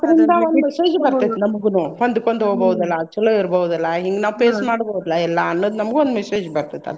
ನಮ್ಗುನು ಹೊಂದಿಕೊಂಡ್ ಹೋಗ್ಬೋದಲ್ಲಾ ಚೊಲೋ ಇರ್ಬಹುದಲ್ಲ ಹಿಂಗ್ ನಾವ್ face ಮಾಡ್ಬಹುದ್ಲಾ ಎಲ್ಲಾ ಅನ್ನೋದ್ ನಮ್ಗು ಒಂದ್ message ಬರ್ತೆತಿ ಅಂತ್ರಿಂದ್.